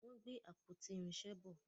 wón gbé àpótí irinṣẹ bọ.